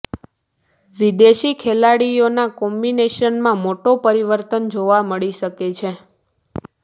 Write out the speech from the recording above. વિદેશી ખેલાડીઓના કોમ્બિનેશનમાં મોટો પરિવર્તન જોવા મળી શકે છે